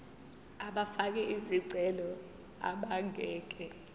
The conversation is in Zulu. abafake izicelo abangeke